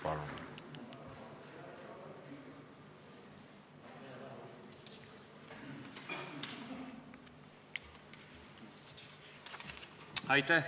Palun!